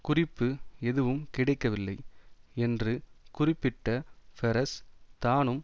குறிப்பு எதுவும் கிடைக்கவில்லை என்று குறிப்பிட்ட பெரஸ் தானும்